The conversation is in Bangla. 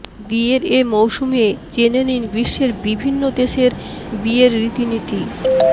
বিয়ের এ মৌসুমে জেনে নিন বিশ্বের বিভিন্ন দেশের বিয়ের রীতিনীতি